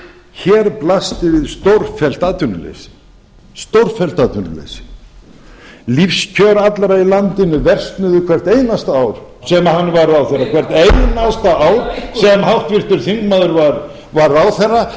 hér blasti við stórfellt atvinnuleysi lífskjör allra í landinu versnuðu hvert einasta ár sem hann var ráðherra hvert einasta ár sem háttvirtur þingmaður var ráðherra